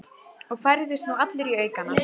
Og færðist nú allur í aukana.